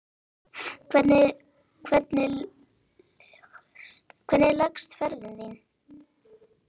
Hvernig leggst ferðin í þig?